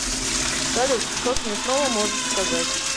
салют что смешного можешь сказать